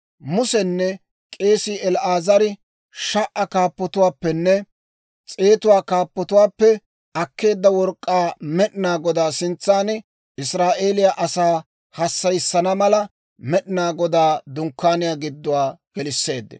Musenne k'eesii El"aazari sha"aa kaappatuwaappenne s'eetuwaa kaappatuwaappe akkeedda work'k'aa Med'inaa Godaa sintsan Israa'eeliyaa asaa hassayissana mala, Med'inaa Godaa Dunkkaaniyaa gidduwaa gelisseeddino.